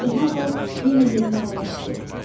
İndi hamı yenə yerinə əyləşdi.